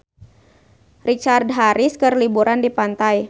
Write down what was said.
Richard Harris keur liburan di pantai